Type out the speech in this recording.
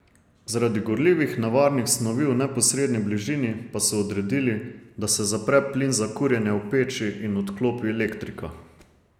Zaradi gorljivih nevarnih snovi v neposredni bližini pa so odredili, da se zapre plin za kurjenje v peči in odklopi elektrika.